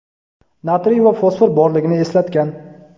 natriy va fosfor borligini eslatgan.